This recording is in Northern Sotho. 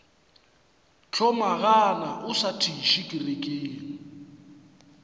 hlomagana o sa thiše kerekeng